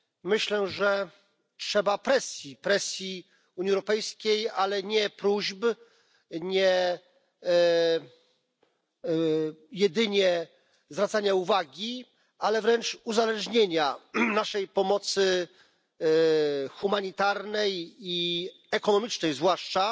Myślę, że trzeba presji, presji Unii Europejskiej, ale nie próśb, nie jedynie zwracania uwagi, ale wręcz uzależnienia naszej pomocy humanitarnej, i ekonomicznej zwłaszcza,